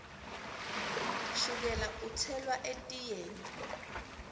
shukela utselwa etiyeni